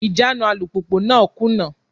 Ìjánu alùpùpù náà kùnà.